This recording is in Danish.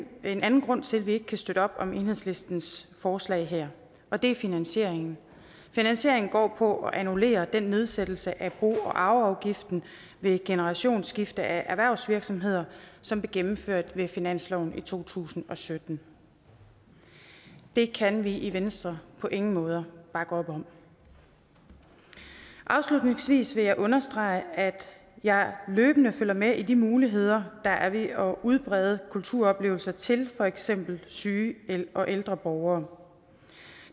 en anden grund til at vi ikke kan støtte op om enhedslistens forslag her og det er finansieringen finansieringen går på at annullere den nedsættelse af bo og arveafgiften ved generationsskifte af erhvervsvirksomheder som blev gennemført ved finansloven i to tusind og sytten det kan vi i venstre på ingen måder bakke op om afslutningsvis vil jeg understrege at jeg løbende følger med i de muligheder der er ved at udbrede kulturoplevelser til for eksempel syge og ældre borgere